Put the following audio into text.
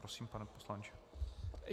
Prosím, pane poslanče.